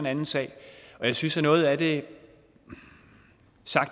anden sag og jeg synes at noget af det